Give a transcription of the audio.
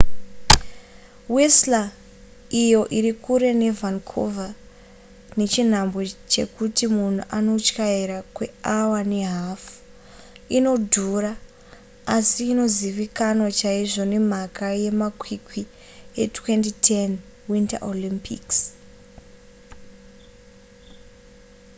whistler iyo iri kure nevancouver nechinhambwe chekuti munhu anotyaira kweawa nehafu inodhura asi inozivikanwa chaizvo nemhaka yemakwikwi e2010 winter olympics